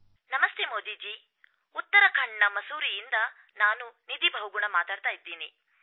ನಮಸ್ತೆ ಮೋದೀಜಿ ಉತ್ತರಾಖಂಡ್ನ ಮಸೂರಿಯಿಂದ ನಾನು ನಿಧಿ ಬಹುಗುಣಾ ಮಾತಾಡ್ತಾ ಇದೀನಿ